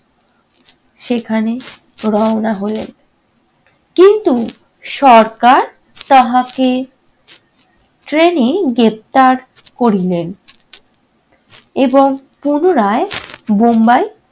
সেখানে রওনা হইলেন। কিন্তু সরকার তাহাকে train এই গ্রেফতার করিলেন। এবং পুনরায় বোম্বাই